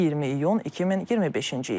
20 iyun 2025-ci il.